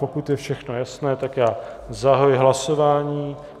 Pokud je všechno jasné, tak já zahajuji hlasování.